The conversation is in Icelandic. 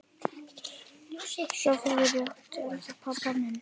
Sofðu rótt elsku pabbi minn.